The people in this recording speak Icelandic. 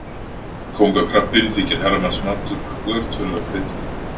Kóngakrabbinn þykir herramannsmatur og er töluvert veiddur.